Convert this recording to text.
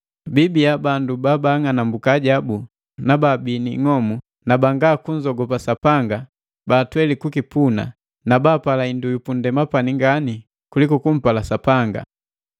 biibiya bandu babaang'anambuka ajabu na baabi ni ing'omu na jwanga kunzogopa Sapanga baatweli kukipuna na bapala hindu yu pundema pani ngani kuliku kumpala Sapanga.